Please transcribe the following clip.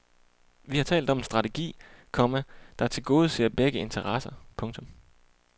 Vi har talt om en strategi, komma der tilgodeser begges interesser. punktum